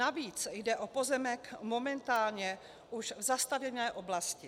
Navíc jde o pozemek momentálně v už zastavěné oblasti.